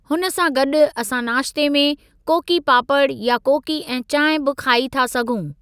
हुन सां गॾु असां नाश्ते में कोकी पापड़ या कोकी ऐं चांहिं बि खाई था सघूं।